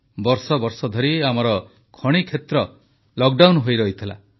ବର୍ଷ ବର୍ଷ ଧରି ଆମର ଖଣିକ୍ଷେତ୍ର ଲକଡାଉନ ହୋଇରହିଥିଲା